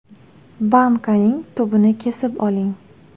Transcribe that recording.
Bankaning tubini kesib oling.